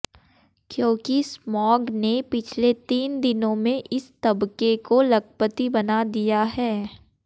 क्योंकि स्मॉग ने पिछले तीन दिनों में इस तबके को लखपति बना दिया है